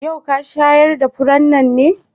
Yau ka shayar da furannin nan?